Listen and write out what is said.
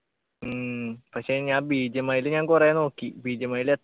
ഉം പക്ഷെ ഞാൻ BGMI ല് ഞാൻ കൊറേ നോക്കി BGMI ല്